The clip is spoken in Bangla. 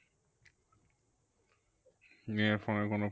মেয়ের phone এ কোনো